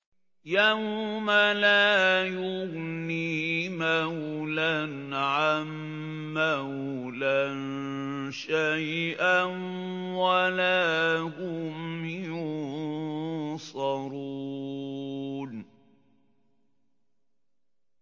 يَوْمَ لَا يُغْنِي مَوْلًى عَن مَّوْلًى شَيْئًا وَلَا هُمْ يُنصَرُونَ